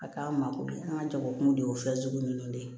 A k'an mako bɛ an ka jago kun de ye o fɛnsugu ninnu de ye